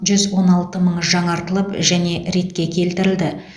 жүз он алты мыңы жаңартылып және ретке келтірілді